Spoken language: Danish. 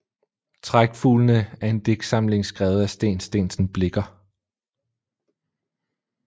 Trækfuglene er en digtsamling skrevet af Steen Steensen Blicher